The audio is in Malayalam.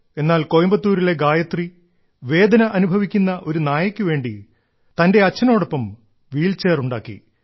എന്നാൽ കോയമ്പത്തൂരിലെ ഗായത്രി വേദന അനുഭവിക്കുന്ന ഒരു നായക്കു വേണ്ടി തന്റെ അച്ഛനോടൊപ്പം ഒരു വീൽചെയർ ഉണ്ടാക്കി